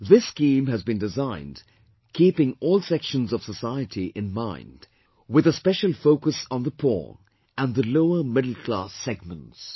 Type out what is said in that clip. This scheme has been designed keeping all sections of society in mind, with a special focus on the poor and the lower middle class segments